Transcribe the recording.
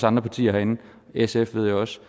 andre partier herinde sf ved jeg også